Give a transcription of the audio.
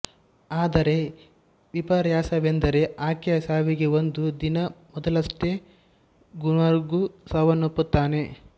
ಆದರೆ ವಿಪರ್ಯಾಸವೆಂದರೆ ಆಕೆಯ ಸಾವಿಗೆ ಒಂದು ದಿನ ಮೊದಲಷ್ಟೇ ಗುವಾನ್ಗ್ಕ್ಸು ಸಾವನ್ನಪ್ಪುತ್ತಾನೆ